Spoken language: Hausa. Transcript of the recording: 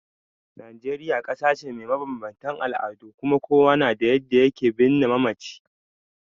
Najeriya kasa ce mai mabanbantan al'adu kuma kowa na da yadda ya ke birne mamaci.